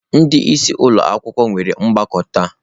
Ndị isi ụlọ akwụkwọ nwere ọgbakọ taa.